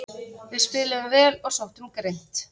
Við spiluðum vel og sóttum grimmt